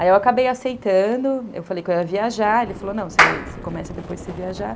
Aí eu acabei aceitando, eu falei que eu ia viajar, ele falou, não, você começa depois de você viajar.